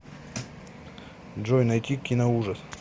джой найти киноужас